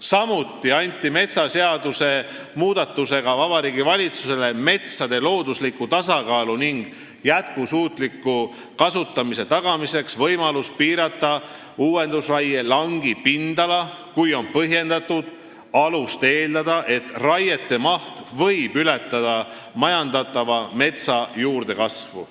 Samuti anti metsaseaduse muudatusega Vabariigi Valitsusele metsade loodusliku tasakaalu ning jätkusuutliku kasutamise tagamiseks võimalus piirata uuendusraie langi pindala, kui on põhjendatult alust eeldada, et raiete maht võib ületada majandatava metsa juurdekasvu.